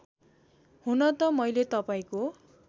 हुनत मैले तपाईँको